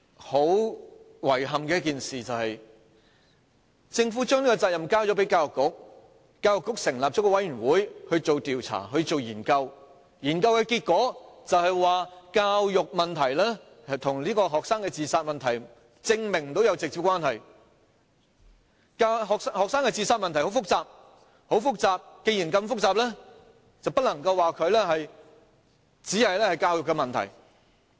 很遺憾的是，政府將這責任交給教育局，教育局成立了一個委員會進行調查和研究，研究結果是，無法證明教育問題與學生的自殺問題有直接關係，學生的自殺問題很複雜，既然這麼複雜，便不能說這只是教育問題。